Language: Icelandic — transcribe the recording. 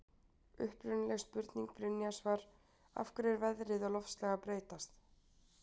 Upprunaleg spurning Brynjars var: Af hverju er veðrið og loftslag að breytast?